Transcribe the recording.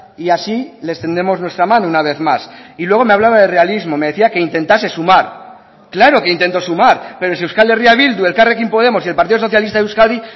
y así les tendemos nuestra mano una vez más y luego me hablaba de realismo me decía que intentase sumar claro que intento sumar pero si euskal herria bildu elkarrekin podemos y el partido socialista de euskadi